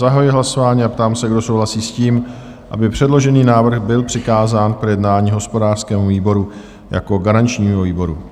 Zahajuji hlasování a ptám se, kdo souhlasí s tím, aby předložený návrh byl přikázán k projednání hospodářskému výboru jako garančnímu výboru?